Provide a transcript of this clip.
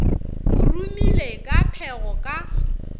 o rumile ka phego ka